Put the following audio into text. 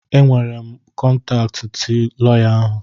Enwere m kọntaatị tị lọya ahụ.